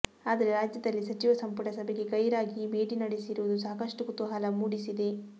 ಆದ್ರೆ ರಾಜ್ಯದಲ್ಲಿ ಸಚಿವ ಸಂಪುಟ ಸಭೆಗೆ ಗೈರಾಗಿ ಈ ಭೇಟಿ ನಡೆಸಿರುವುದು ಸಾಕಷ್ಟು ಕುತೂಹಲ ಮೂಡಿಸಿದೆ